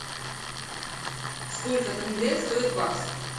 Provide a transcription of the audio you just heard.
сколько тенге стоит бакс